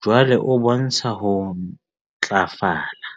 jwale o bontsha ho ntlafala.